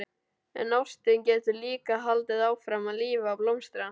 En ástin getur líka haldið áfram að lifa og blómstra.